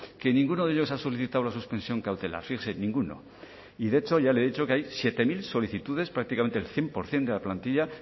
que ninguno de ellos ha solicitado la suspensión cautelar fíjese ninguno y de hecho ya le he dicho que hay siete mil solicitudes prácticamente el cien por ciento de la plantilla